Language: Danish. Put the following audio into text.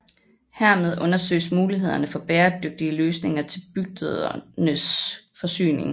Hermed undersøges mulighederne for bæredygtige løsninger til bygdernes forsyning